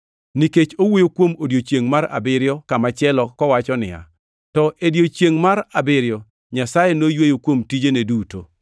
Nikech owuoyo kuom odiechiengʼ mar abiriyo kamachielo kowacho niya, “To e odiechiengʼ mar abiriyo Nyasaye noyweyo kuom tijene duto.” + 4:4 \+xt Chak 2:2\+xt*